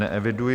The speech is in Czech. Neeviduji.